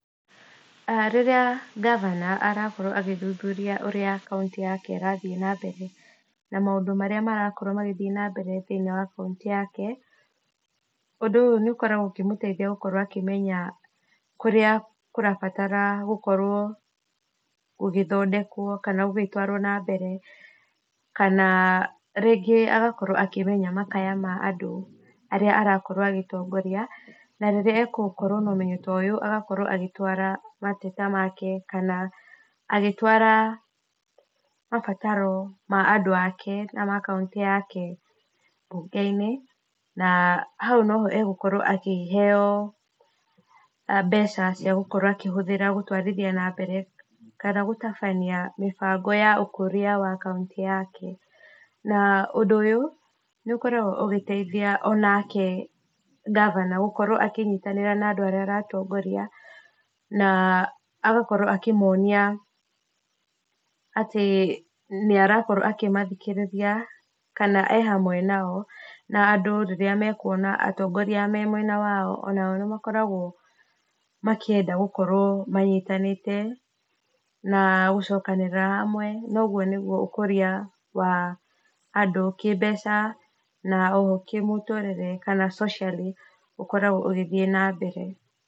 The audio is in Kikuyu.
Rĩrĩa ngavana arakorwo agĩthũthũrĩa ũrĩa kaũnti yake ĩrathiĩ na mbere na mũndũ marĩa marokorwo magĩthĩe na mbere kaũnti thĩ inĩ wa kaũntĩ yake, ũndũ ũyũ nĩ ũkoragwo ũkĩmũteĩthĩa gũkorwo akĩmenya kũrĩ a kũrabatara gũkorwo gũgĩthondekwo kana kana gũgĩtwarwo na mbere kana rĩngĩ agagĩkorwo akĩmenya makaya ma andũ arĩa aragĩkorwo agĩtongorĩa, na rĩrĩa agũkorwo na ũmenyo ta ũyũ agakorwo agĩtwara mateta make kana agĩtwara mabataro ma andũ ake na ma kaũnti yake mbũge inĩ, na haũ noho egũkorwo akĩheo mbeca cia gũkorwo akĩhũthĩra gũtwarĩthĩa na mbere kana gũtabanĩa mĩbango ya ũkũrĩa wa kaũnti yake, na ũndũ ũyũ nĩ ũkoragwo ũgĩteithĩa onake gavana gũkorwo akĩnyĩtanĩra na andũ arĩa aratongorĩa na agakorwo akĩmonia atĩ nĩarakorwo akĩmathĩkĩrĩria kana e hamwe nao andũ rĩrĩa mekũona atongorĩa me mwena wao onao nĩ makoragwo makĩenda gũkorwo manyĩtanĩte na gũcokanĩrĩra hamwe na ũgũo nĩgũo ũkũrĩa wa andũ kĩmbeca na oho kĩmũtũrĩre kana socially u ũkoragwo ũgĩthĩe na mbere.